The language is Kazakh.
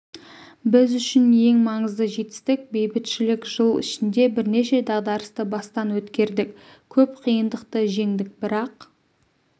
біз үшін ең маңызды жетістік бейбітшілік жыл ішінде бірнеше дағдарысты бастан өткердік көп қиындықты жеңдік бірақ